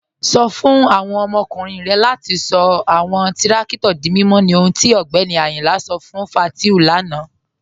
Sọ̀ fún awọn ọmọkùnrin rẹ̀ latí sọ̀ awọn tìrakítò dí mímọ̀ ní ọ̀hùn tí Ọgbẹ́ni Ayínla sọ̀ fún Fátíù lánà.